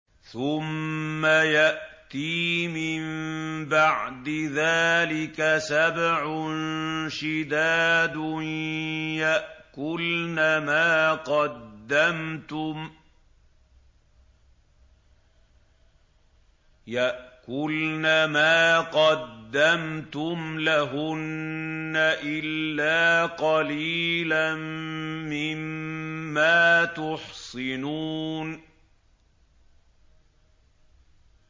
ثُمَّ يَأْتِي مِن بَعْدِ ذَٰلِكَ سَبْعٌ شِدَادٌ يَأْكُلْنَ مَا قَدَّمْتُمْ لَهُنَّ إِلَّا قَلِيلًا مِّمَّا تُحْصِنُونَ